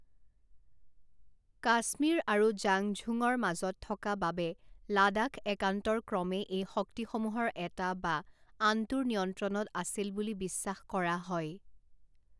কাশ্মীৰ আৰু জাংঝুঙৰ মাজত থকা বাবে লাডাখ একান্তৰক্ৰমে এই শক্তিসমূহৰ এটা বা আনটোৰ নিয়ন্ত্ৰণত আছিল বুলি বিশ্বাস কৰা হয়।